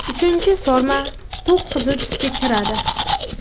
Uchinchi forma to‘q qizil tusga kiradi.